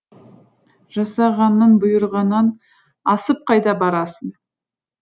жасағанның бұйрығынан асып қайда барасың